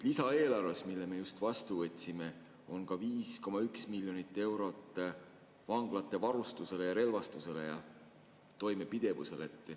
Lisaeelarves, mille me just vastu võtsime, on ka 5,1 miljonit eurot vanglate varustusele, relvastusele ja toimepidevusele.